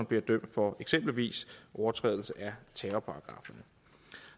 bliver dømt for eksempelvis overtrædelse af terrorparagrafferne